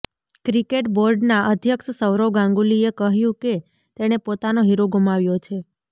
cricket બોર્ડના અધ્યક્ષ સૌરવ ગાંગુલીએ કહ્યું કે તેણે પોતાનો હીરો ગુમાવ્યો છે